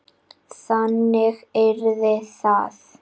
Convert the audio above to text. Þannig yrði það.